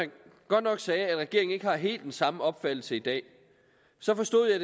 han godt nok sagde at regeringen ikke har helt den samme opfattelse i dag